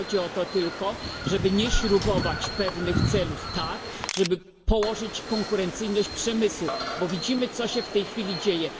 Chodzi tylko o to, żeby nie śrubować pewnych celów tak, żeby położyć konkurencyjność przemysłu, bo widzimy, co się w tej chwili dzieje.